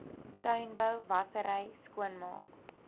tuinbou wassery skoonmaak